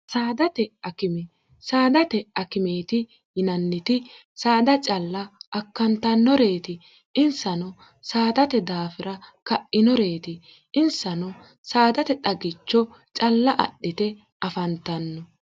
sdtsaadate akimeeti yinanniti saada calla akkantannoreeti insano saadate daafira ka'inoreeti insano saadate xagicho calla adhite afantanno